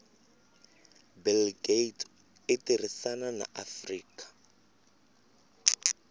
bill gates itirisana na afrika